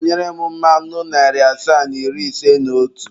Tinyere m mmanụ narị asaa na iri ise na otu.